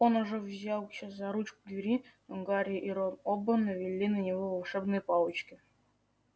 он уже взялся за ручку двери но гарри и рон оба навели на него волшебные палочки